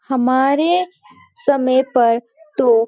हमारे समय पर तो --